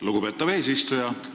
Lugupeetav eesistuja!